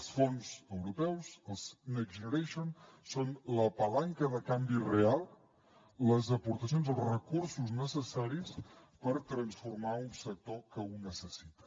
els fons europeus els next generation són la palanca de canvi real les aportacions els recursos necessaris per transformar un sector que ho necessita